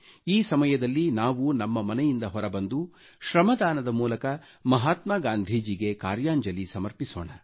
ಈ ಸಮಯದಲ್ಲಿ ನಾವು ನಮ್ಮ ಮನೆಯಿಂದ ಹೊರಬಂದು ಶ್ರಮದಾನದ ಮೂಲಕ ಮಹಾತ್ಮಾ ಗಾಂಧಿಜಿಗೆ ಕಾರ್ಯಾಂಜಲಿ ಸಮರ್ಪಿಸೋಣ